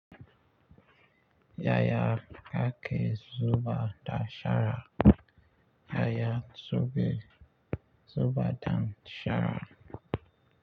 Yaya kake zuba da shara. Yaya suke zuba da shara.